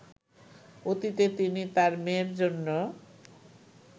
অতীতে তিনি তার মেয়ের জন্য